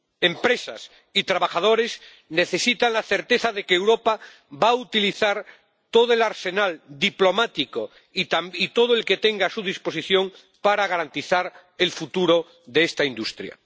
Empresas y trabajadores necesitan la certeza de que Europa va a utilizar todo el arsenal diplomático y todo lo que tenga a su disposición para garantizar el futuro de esta industria.